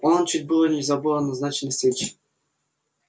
он чуть было не забыл о назначенной встреч